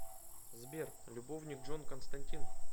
сбер любовник джон константин